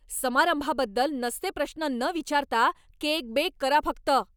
समारंभाबद्दल नसते प्रश्न न विचारता केक बेक करा फक्त!